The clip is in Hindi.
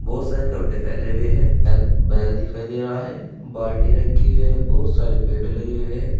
बहुत सारे कपड़े फैले हुए हैं बैग दिखाई दे रहा है बाल्टी रखी हुई है बहुत सारे पेड़ लगे हुए हैं।